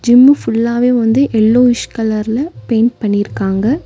Gym ஃபுல்லாவே வந்து yellowish கலர்ல பெயிண்ட் பண்ணிருக்காங்க.